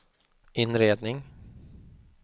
inredning